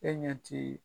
E ɲɛ ti